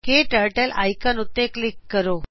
ਕਟਰਟਲ ਆਇਕਨ ਉੱਤੇ ਕਲਿਕ ਕਰੋ